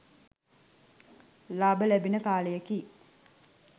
ලාබ ලැබෙන කාලයකි.